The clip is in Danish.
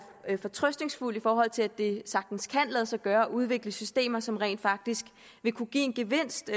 er fortrøstningsfuld i forhold til at det sagtens kan lade sig gøre at udvikle systemer som rent faktisk vil kunne give en gevinst